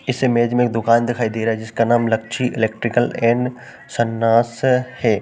इस इमेज में एक दुकान दिखाई दे रहा है। जिसका नाम है लक्षी इलेक्ट्रिकल एंड सन्नाश है।